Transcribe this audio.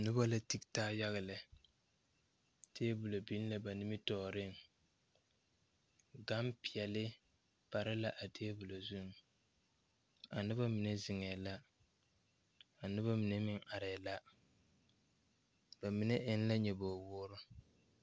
Nobɔ la tige taa yaga lɛ tabolɔ biŋ la ba nimitooreŋ gampeɛle pare la a tabol zuŋ anobɔ mine zeŋɛɛ la anobɔ mine meŋ arɛɛ la ba mine eŋ la nyoboge woore.